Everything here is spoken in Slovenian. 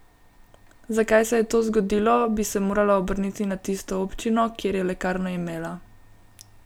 Zakaj se je to zgodilo, bi se morala obrniti na tisto občino, kjer je lekarno imela.